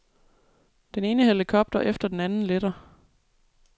Den ene helikopter efter den anden letter.